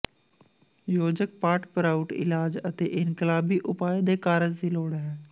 ਯੋਜਕ ਪਾਟ ਪ੍ਰਾਉਟ ਇਲਾਜ ਅਤੇ ਇਨਕਲਾਬੀ ਉਪਾਅ ਦੇ ਕਾਰਜ ਦੀ ਲੋੜ ਹੈ